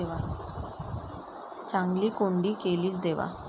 चांगली कोंडी केलीस देवा!